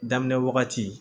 Daminɛ wagati